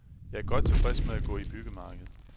Jeg er godt tilfreds med at gå i byggemarked.